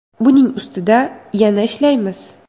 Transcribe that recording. Buning ustida yana ishlaymiz.